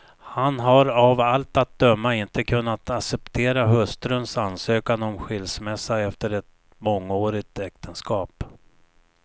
Han har av allt att döma inte kunnat acceptera hustruns ansökan om skilsmässa efter ett mångårigt äktenskap.